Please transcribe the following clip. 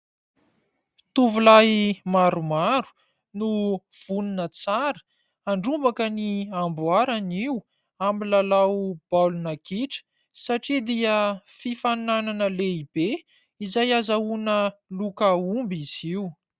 Tovolahy maromaro no vonona tsara handrombaka ny amboara anio , amin'ny lalao baolina kitra satria dia fifaninana lehibe izay ahazoana loka omby izy io.